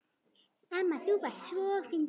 Amma þú varst svo fyndin.